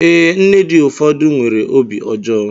Ee, nne dị ụfọdụ nwere obi ọjọọ